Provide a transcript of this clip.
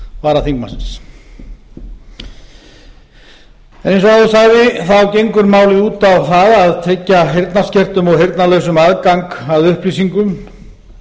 varaþingmannsins eins og áður sagði gengur málið út á það að tryggja heyrnarlausum og heyrnarskertum aðgang að upplýsingum